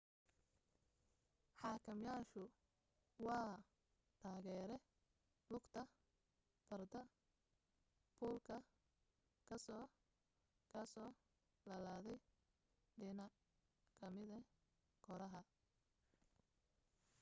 xakameyaashu waa taageere lugta farda fuulka kasoo kasoo laladay dhinac kamida kooraha